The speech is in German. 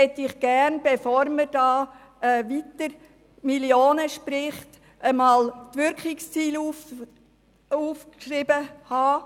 Bevor man weiterhin Millionen von Franken spricht, möchten wir einmal eine Auflistung der Wirkungsziele haben.